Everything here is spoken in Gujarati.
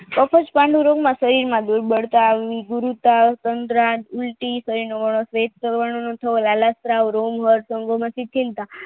એક જ પાંડુ રોગના શરીરમાં દુર્બળતા ખીલતા